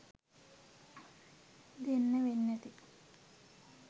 දෙන්න වෙන්නැති.